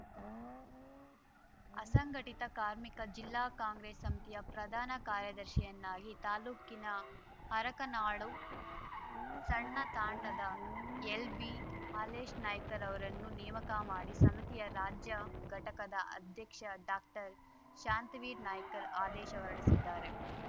ಅಸಂಘಟಿತ ಕಾರ್ಮಿಕ ಜಿಲ್ಲಾ ಕಾಂಗ್ರೆಸ್‌ ಸಮಿತಿಯ ಪ್ರಧಾನ ಕಾರ್ಯದರ್ಶಿಯನ್ನಾಗಿ ತಾಲೂಕಿನ ಹರಕನಾಳು ಸಣ್ಣ ತಾಂಡದ ಎಲ್‌ಬಿ ಹಾಲೇಶನಾಯ್ಕರವರನ್ನು ನೇಮಕ ಮಾಡಿ ಸಮಿತಿಯ ರಾಜ್ಯ ಘಟಕದ ಅಧ್ಯಕ್ಷ ಡಾಕ್ಟರ್ಶಾಂತವೀರ್ ನಾಯ್ಕರ್ ಆದೇಶ ಹೊರಡಿಸಿದ್ದಾರೆ